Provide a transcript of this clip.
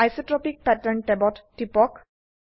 isotopic pattern ট্যাবত টিপক